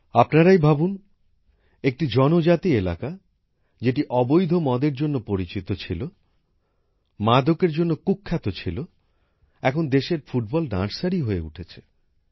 আপনারাই ভাবুন একটি জনজাতি এলাকা যেটি অবৈধ মদের জন্য পরিচিত ছিল মাদকের জন্য কুখ্যাত ছিল তা এখন দেশের ফুটবলের ধাত্রীভূমি হয়ে উঠেছে